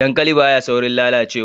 Dankali ba ya saurin lalacewa